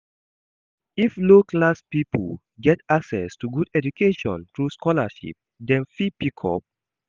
If low class pipo get access to good education through sholarship dem fit pick up